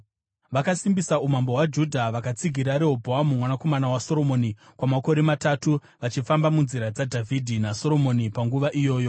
Vakasimbisa umambo hwaJudha vakatsigira Rehobhoamu mwanakomana waSoromoni kwamakore matatu, vachifamba munzira dzaDhavhidhi naSoromoni panguva iyoyi.